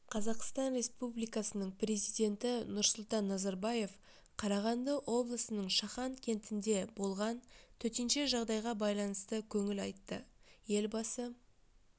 қазақстан республикасының президенті нұрсұлтан назарбаев қарағанды облысының шахан кентінде болған төтенше жағдайға байланысты көңіл айтты елбасы